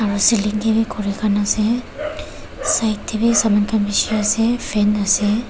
kuri khan ase side teh bhi saman khan bishi ase fan ase.